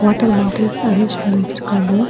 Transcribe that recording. Water bottles arrange பண்ணி வச்சிருக்காங்க.